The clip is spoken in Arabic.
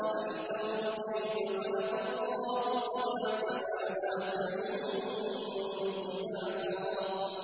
أَلَمْ تَرَوْا كَيْفَ خَلَقَ اللَّهُ سَبْعَ سَمَاوَاتٍ طِبَاقًا